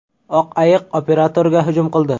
Oq ayiq operatorga hujum qildi .